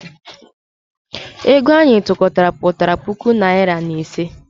Ego anyị tụkọtara pụtara puku naịra na iri ise.